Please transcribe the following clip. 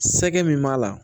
Sɛgɛ min b'a la